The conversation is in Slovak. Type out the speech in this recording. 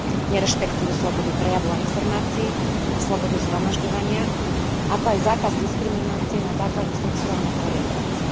Nerešpektujú slobodu prejavu a informácií a slobodu zhromažďovania, ako aj zákaz diskriminácie na základe sexuálnej orientácie.